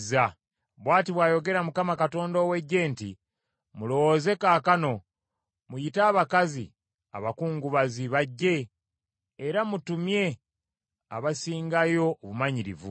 Bw’ati bw’ayogera Mukama Katonda ow’Eggye nti, “Mulowooze kaakano, muyite abakazi abakungubazi, bajje; era mutumye abasingayo obumanyirivu.